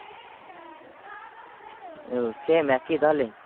ও same একই তাহলে?